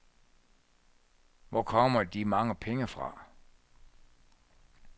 Hvor kommer de mange penge fra?